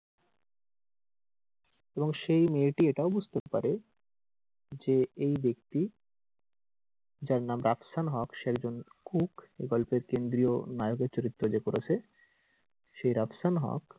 এবং সেই মেয়েটি এটাও বুঝতে পারে যে এই ব্যাক্তি যার নাম রাফসান হক সে একজন cook এই গল্পের কেন্দ্রীয় নায়কের চরিত্রে যে করেছে সে রাফসান হক,